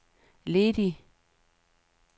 ledig